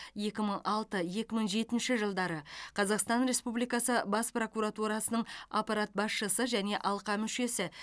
екі мың алты екі мың жетінші жылдары қазақстан республикасы бас прокуратурасының аппарат басшысы және алқа мүшесі